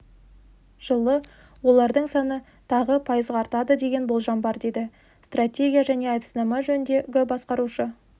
жылы олардың саны тағы пайызға артады деген болжам бар деді стратегия және әдіснама жөніндегі басқарушы